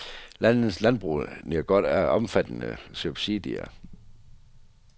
Landets landbrug nyder godt af omfattende subsidier.